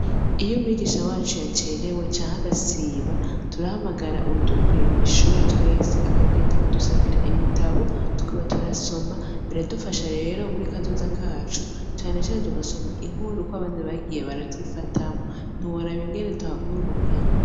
Iyo mwigisha wacu yacerewe canke agasiba turahamagara uwudukuriye mw'ishure akagenda akadusabira ibitabo tukaba turasoma biradufasha rero muri kazoza kacu cane cane tugasoma inkuru ukuntu abami bagiye baravyifatamwo ntiworaba tuhakura ubumenyi .